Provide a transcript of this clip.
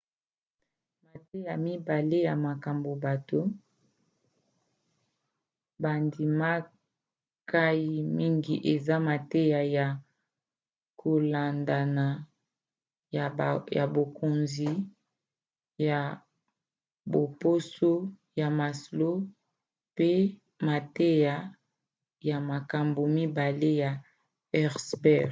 mateya mibale ya makambo bato bandimkai mingi eza mateya ya kolandana ya bokonzi ya baposo ya maslow pe mateya ya makambo mibale ya herzberg